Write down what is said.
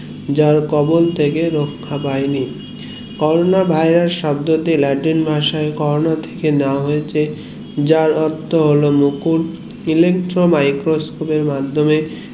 যার কবল থেকে রক্ষা পাইনি করোনা ভাইরাস শব্দটি latin ভাষায় করোনা থেকে নেওয়া হয়েছে যার অর্থ হলো মুকুর electro microscope এর মাধ্যমে